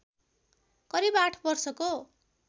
करिव आठ वर्षको